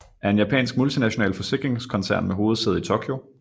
er en japansk multinational forsikringskoncern med hovedsæde i Tokyo